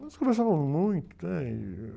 Nós conversávamos muito?